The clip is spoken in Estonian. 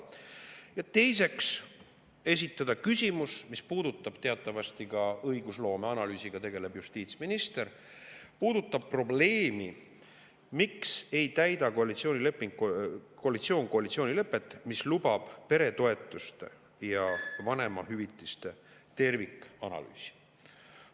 Ja teiseks esitada küsimuse, mis puudutab – teatavasti ka õigusloome analüüsiga tegeleb justiitsminister – probleemi, miks ei täida koalitsioon koalitsioonilepet, mis lubab peretoetuste ja vanemahüvitiste tervikanalüüsi.